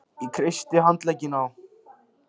Ég kreisti handlegginn á